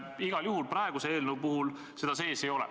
Aga praeguses eelnõus seda igal juhul sees ei ole.